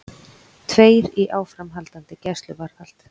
Tveir í áframhaldandi gæsluvarðhald